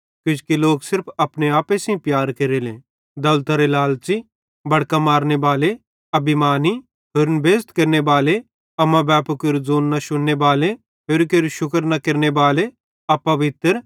किजोकि लोक सिर्फ अपने आपे सेइं प्यार केरेले दौलतरे लालच़ी बड़कां मारनेबाले अभिमानी होरन बेइज़्ज़ केरनेबाले अम्माबैपू केरू ज़ोंनू न शुन्ने बाले होरि केरू शुक्र न केरनेबाले अपवित्र